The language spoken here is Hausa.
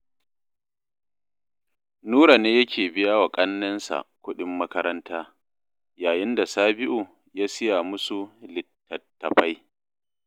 Nura ne yake biya wa ƙannensa kuɗin makaranta, yayin da Sabi'u ya siya musu littattafai